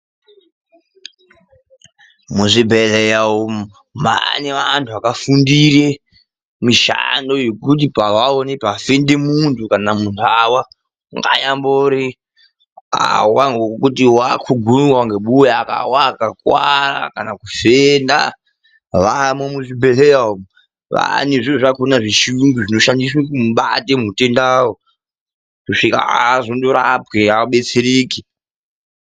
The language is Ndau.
Muzvibhedhlera umu mane vandu vakafundira mishando yekuti pavaona pafenda mundu kana kuti mundu awa anyangori kuti wakugunwa akawa akakuwara kana kuti kufenda vavo muzvibhedhlera umu. Kwaane zviro zvakona zvechiyungu zvinoshandiswa kubata hutenda hwakona kusvika azondorapwe adetsereke.